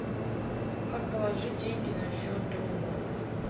как положить деньги на счет другу